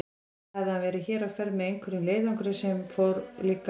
Þá hefði hann verið hér á ferð með einhverjum leiðangri sem líka fór til